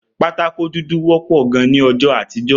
Pátákó dúdú wõpõ gan ni õjõ àtíjö